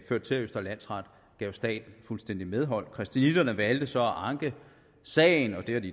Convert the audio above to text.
førte til at østre landsret gav staten fuldstændigt medhold christianitterne valgte så at anke sagen det er de